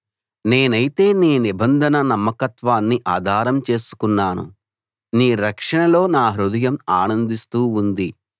నేనైతే నీ నిబంధన నమ్మకత్వాన్ని ఆధారం చేసుకున్నాను నీ రక్షణలో నా హృదయం ఆనందిస్తూ ఉంది